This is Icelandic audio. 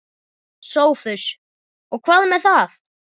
SOPHUS: Og hvað með það?